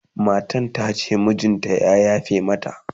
matan tace mijinta ya yafe mata